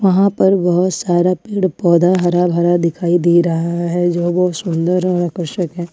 वहां पर बहोत सारा पेड़ पौधा हरा भरा दिखाई दे रहा है जो बहुत सुंदर आकर्षक है।